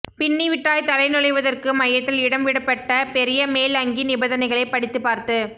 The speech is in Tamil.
பின்னிவிட்டாய் தலை நுழைவதற்கு மையத்தில் இடம் விடப்பட்ட பெரிய மேல் அங்கி நிபந்தனைகளைபடித்துப்பார்த்து